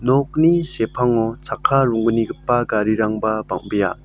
nokni sepango chakka ronggnigipa garirangba bang·bea.